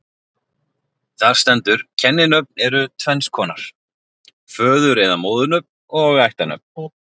Þar stendur: Kenninöfn eru tvenns konar, föður- eða móðurnöfn og ættarnöfn